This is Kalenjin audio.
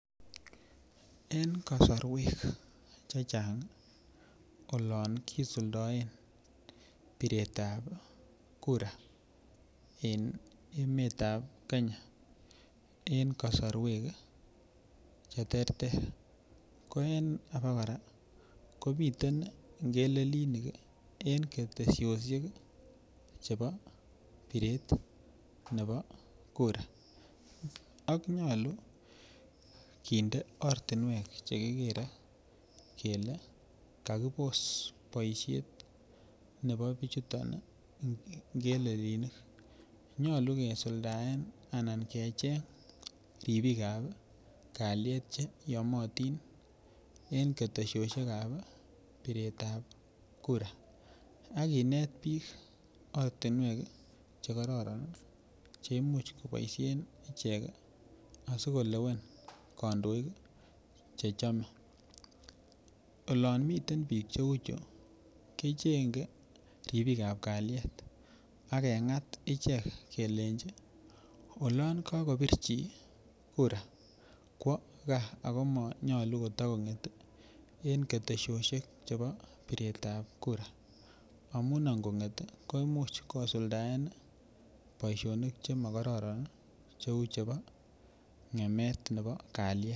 Eng kasorwek che chang olon kisuldaen biret ap kura en emet ap Kenya eng kosorwek che ter ter ko en ake kora komiten ngelelinik en keteshoshek chebo biret nebo kura ak nyolu kinde ortunwek chekikere kele kakipos boishet nebo bichuton ngelelinik nyolu keisuldaen anan kecheny ripik ap kaliet che yomotin en keteshoshek ap biret ap kura ak kinet biik ortinwek chekororon cheimuch koboishen ichek asikolewen kandoik che chome olon miten biik cheu chu kechenye ripik ap kalyet pakeng'at ichek kelenji olon kakopir chi kura kowo kaa ako manyalu kotakonget eng ketesioshek chebo biret ap kura amun angonget koimuch kosuldaen boishonik chemokororon cheu chebo ng'emet nebo kaliet.